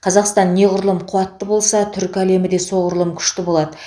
қазақстан неғұрлым қуатты болса түркі әлемі де соғұрлым күшті болады